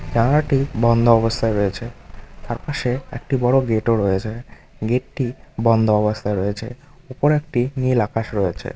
টি বন্ধ অবস্থায় রয়েছে তার পাশে একটি বড়ো গেট -ও রয়েছে গেটটি বন্ধ অবস্থায় রয়েছে উপরে একটি নীল আকাশ রয়েছে।